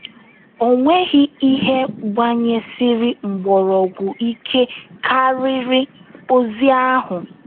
O nweghị ihe gbanyesiri mgbọrọgwụ ike karịrị ozi ahụ.